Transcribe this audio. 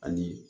Ani